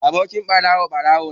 Abokin ɓarawo, ɓarawo ne.